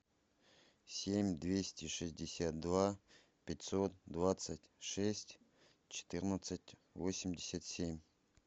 семь двести шестьдесят два пятьсот двадцать шесть четырнадцать восемьдесят семь